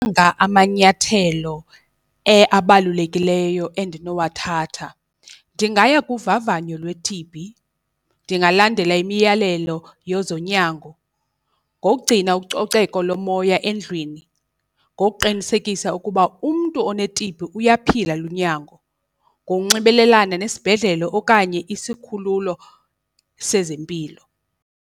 amanyathelo abalulekileyo endinowathatha, ndingaya kuvavanyo lwe-T_B, ndingalandela imiyalelo yezonyango ngokugcina ucoceko lomoya endlwini, ngokuqinisekisa ukuba umntu one-T_B uyaphila lunyango, ngokunxibelelana nesibhedlele okanye isikhululo sezempilo.